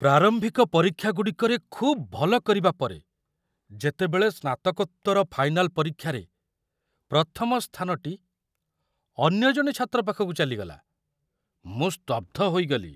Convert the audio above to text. ପ୍ରାରମ୍ଭିକ ପରୀକ୍ଷାଗୁଡ଼ିକରେ ଖୁବ୍ ଭଲ କରିବା ପରେ, ଯେତେବେଳେ ସ୍ନାତକୋତ୍ତର ଫାଇନାଲ ପରୀକ୍ଷାରେ ପ୍ରଥମ ସ୍ଥାନଟି ଅନ୍ୟ ଜଣେ ଛାତ୍ର ପାଖକୁ ଚାଲିଗଲା, ମୁଁ ସ୍ତବ୍ଧ ହୋଇଗଲି।